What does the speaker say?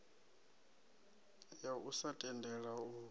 ya u sa tendela u